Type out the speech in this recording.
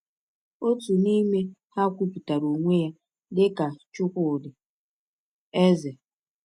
Otu n’ime ha kwupụtara onwe ya dị ka Chukwudi Eze.